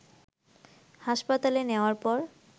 হাসপাতালে নেয়ার পর